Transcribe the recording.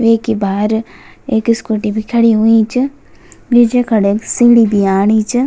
वेकि भार एक स्कूटी भी खड़ीं हुईं च बीचे खड़े क सीडीं भी आणी च।